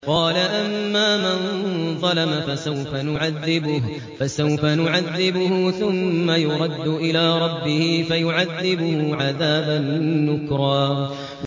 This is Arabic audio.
قَالَ أَمَّا مَن ظَلَمَ فَسَوْفَ نُعَذِّبُهُ ثُمَّ يُرَدُّ إِلَىٰ رَبِّهِ فَيُعَذِّبُهُ عَذَابًا نُّكْرًا